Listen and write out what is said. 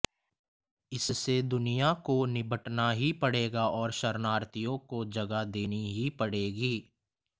इससे दुनिया को निबटना ही पड़ेगा और शरणार्थियों को जगह देनी ही पड़ेगी